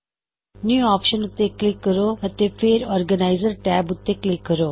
new option ਉੱਤੇ click ਕਰੋ ਅਤੇ ਫੇਰ ਔਰਗੇਨਾਇਜ਼ਰ ਟੈਬ ਉੱਤੇ ਕਲਿੱਕ ਕਰੋ